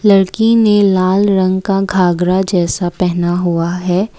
लड़की ने लाल रंग का घाघरा जैसा पहना हुआ है।